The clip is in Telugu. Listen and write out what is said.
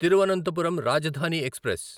తిరువనంతపురం రాజధాని ఎక్స్ప్రెస్